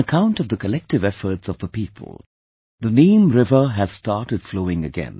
On account of the collective efforts of the people, the Neem river has started flowing again